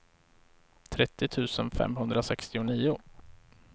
trettio tusen femhundrasextionio